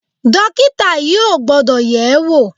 Dọ́kítà yìí ò gbọ́dọ̀ yẹ̀ ẹ́ wò.